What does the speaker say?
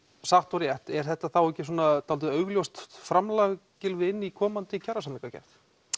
satt og rétt er þetta þá ekki svolítið augljóst framlag Gylfi inn í komandi kjarasamningagerð